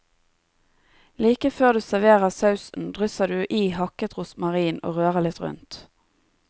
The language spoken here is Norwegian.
Like før du serverer sausen, drysser du i hakket rosmarin og rører litt rundt.